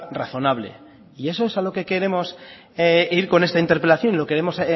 razonable y eso es a lo que queremos ir con esta interpelación y lo queremos